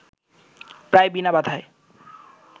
প্রায় বিনা বাধায়